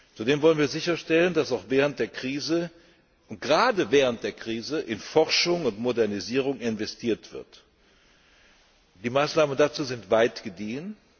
Zudem wollen wir sicherstellen, dass auch während der Krise und gerade während der Krise in Forschung und Modernisierung investiert wird. Die Maßnahmen dazu sind weit gediehen.